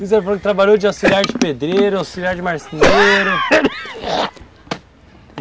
Dizem que você trabalhou de auxiliar de pedreiro, auxiliar de marceneiro